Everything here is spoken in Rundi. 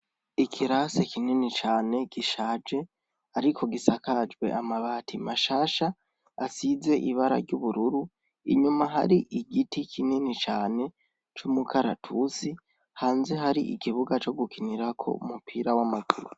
Ikirase kinini cane gishaje, ariko gisakajwe amabati mashasha asize ibara ry'ubururu inyuma hari igiti kinini cane c'umukaratusi hanze hari igibuga co gukinirako umupira w'amajuru.